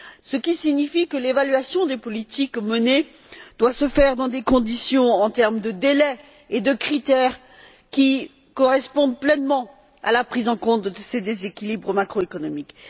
Ce qui signifie que l'évaluation des politiques menées doit se faire dans des conditions, en termes de délai et de critères, qui correspondent pleinement à la prise en compte de ces déséquilibres macroéconomiques.